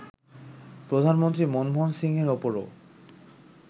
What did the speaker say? প্রধানমন্ত্রী মনমোহন সিংয়ের ওপরও